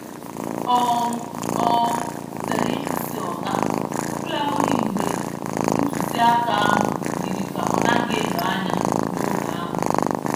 um um M zere ịkwụsị oga, ọbụlagodi mgbe ntụzịaka ahụ yiri ka ọ naghị edo anya n’oge ahụ.